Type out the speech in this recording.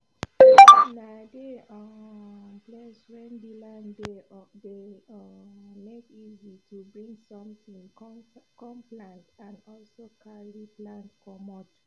nah dey um place wen the land dey dey um make easi to bring sontin com plant and also carry plant comot